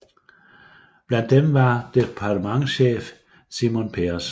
Blandt dem var departementschef Shimon Peres